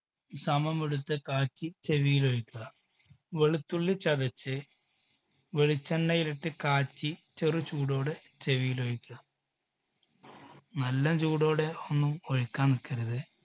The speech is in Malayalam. സമമെടുത്ത് കാച്ചി ചെവിയിൽ ഒഴിക്കുക. വെളുത്തുള്ളി ചതച്ച് വെളിച്ചെണ്ണയിൽ ഇട്ട് കാച്ചി ചെറു ചൂടോടെ ചെവിയിൽ ഒഴിക്കുക നല്ല ചൂടോടെ ഒന്നും ഒഴിക്കാൻ നിൽക്കരുത്.